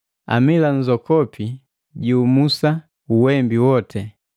Amila nzokopi jiumusa uwembi wote.